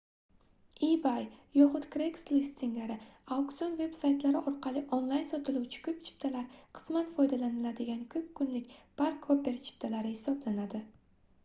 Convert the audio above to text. ebay yoxud craigslist singari auksiion veb-saytlari orqali onlayn sotiluvchi koʻp chiptalar qisman foydalaniladigan koʻp kunlik park-hopper chiptalari hisoblanadi